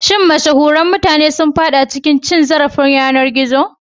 Shin mashahuran mutane sun fada cikin cin zarafin yanar gizo?